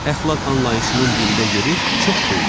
Əxlaq anlayışının dində yeri çox böyükdür.